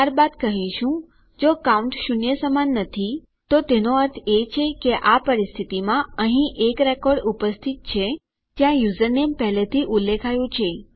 ત્યારબાદ કહીશું જો કાઉન્ટ શૂન્ય સમાન નથી તો એનો અર્થ છે કે આ પરિસ્થિતિમાં અહીં એક રેકોર્ડ ઉપસ્થિત છે જ્યાં યુઝરનેમ પહેલાથી ઉલ્લેખાયેલું છે